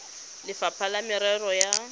le lefapha la merero ya